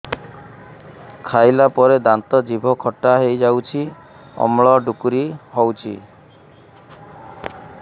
ଖାଇଲା ପରେ ଦାନ୍ତ ଜିଭ ଖଟା ହେଇଯାଉଛି ଅମ୍ଳ ଡ଼ୁକରି ହଉଛି